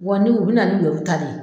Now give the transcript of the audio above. Wa ni u bɛna nin lebu ta de ye.